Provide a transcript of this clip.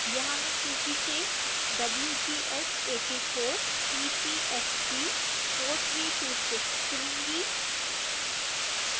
यहां मैं सूची से wgs 84 epsg 4326 चुनूंगी